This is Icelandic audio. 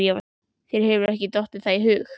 Þér hefur ekki dottið það í hug?